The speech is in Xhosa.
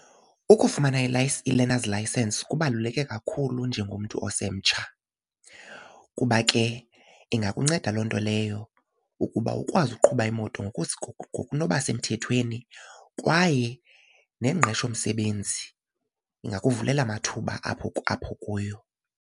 Ukufumana i-learners licence kubaluleke kakhulu njengomntu osemtsha kuba ke ingakunceda loo nto leyo ukuba ukwazi ukuqhuba imoto ngokunoba semthethweni kwaye nengqesho msebenzi ingakuvulela amathuba apho kuyo.